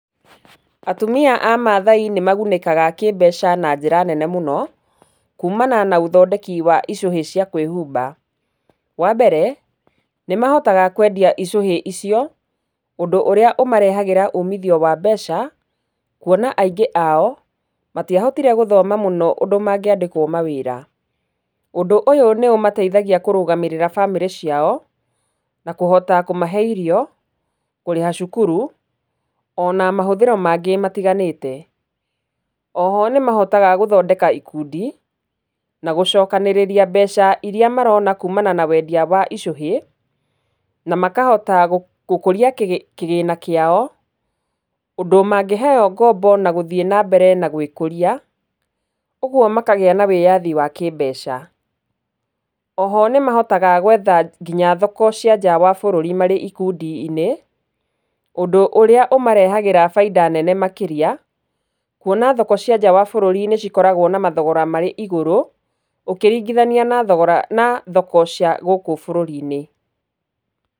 Atumia a mathai nĩ magunĩkaga kĩmbeca na njĩra nene mũno, kumana na ũthondeki wa icũhĩ cia kwĩhumba. Wa mbere, nĩmahotaga kwendia icũhĩ icio ũndũ ũrĩa ũmarehagĩra umithio wa mbeca kuona aingĩ ao matiahotire gũthoma mũno ũndũ mangĩandĩkwo mawĩra. Ũndũ ũyũ nĩũmateithagia kũrũgamĩrĩra bamĩrĩ ciao na kũhota kũmahe irio, kũrĩha cukuru, ona mahũthĩro mangĩ matiganĩte. Oho nĩmahotaga gũthondeka ikundi, na gũcokanĩrĩria mbeca iria marona kumana na kwendia icũhĩ, na makahota gũkũria kĩgĩ, kĩgĩna kĩao ũndũ mangĩheywo ngombo na gũthiĩ na mbere gwĩkũria, ũgwo makagĩa na wĩyathi wa kĩmbeca. Oho nĩmahotaga gwetha nginya thoko cia nja wa bũrũri marĩ ikundi-inĩ, ũndũ ũrĩa ũmarehagĩra bainda nene makĩria, kuona thoko cia njaa wa bũrũri nĩ cikoragwo na mathogora marĩ igũrũ ũkĩringithania na thogora, na thoko cia gũkũ bũrũri-inĩ.